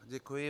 Děkuji.